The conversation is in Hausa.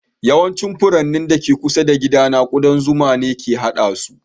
Yawancin furannin da ke kusa da gidana ƙudan zuma ne ke haɗe su